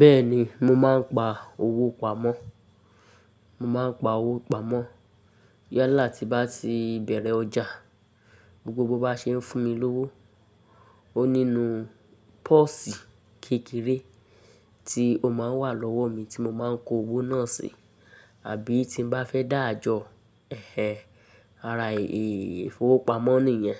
Bẹ́ẹ̀ni mo maá n pa owó pamọ́, mo maá n pa owó pamọ́. Yala ti bá ti bẹ̀rẹ̀ ọjà, gbogbo bó bá ṣe ń fún mi lówó, ó nínú pósì kékeré tí ó máa n wà lọ́wọ́ mi tí mo máa n kó owó náà sí. Àbí tí n bá fẹ́ dáàjò ẹhẹn, ara èéfowópamọ́ nìyẹn.